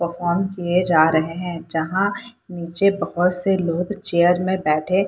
perform किये जा रहे है जहां निचे बहत से लोग चेयर मे बैठे --